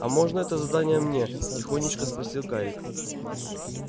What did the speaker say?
а можно это задание мне тихонечко спросил гарик